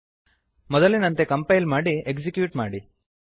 ಮೊದಲಿನಂತೆ ಕಂಪೈಲ್ ಮಾಡಿ ಎಕ್ಸಿಕ್ಯೂಟ್ ಮಾಡಿ